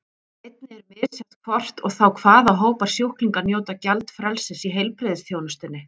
Einnig er misjafnt hvort og þá hvaða hópar sjúklinga njóta gjaldfrelsis í heilbrigðisþjónustunni.